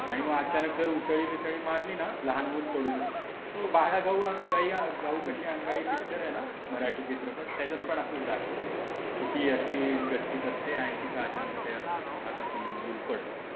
आणि मग अचानक जर उसळी बिसळी मारली ना लहान मूल पडू शकते. बाला, गाऊ काशी अंगाई आहे ना मराठी चित्रपट त्याच्यात पण असाच दाखवलं आहे. की ती अशी गच्चीत असते आणि तिच्या अचानक त्या हातातून मूल पडतं.